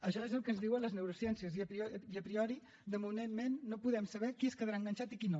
això és el que ens diuen les neurociències i a priori de moment no podem saber qui es quedarà enganxat i qui no